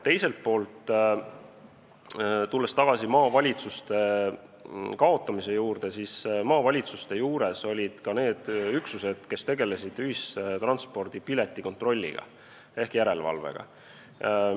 Teiselt poolt, tulles tagasi maavalitsuste kaotamise juurde, siis maavalitsuste juures olid ka need üksused, kes tegelesid ühistranspordipiletite kontrollimisega ehk järelevalvega.